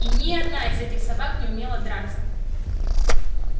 и ни одна из этих собак не умела драться